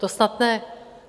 To snad ne!